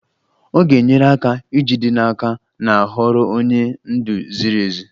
Ọ ga-enyere aka ijide n'aka na a họọrọ onye ndu ziri ezi.